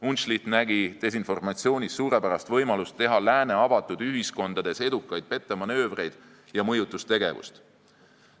Unszlicht nägi desinformatsioonis suurepärast võimalust teha lääne avatud ühiskondades edukaid pettemanöövreid ja mõjutustegevust.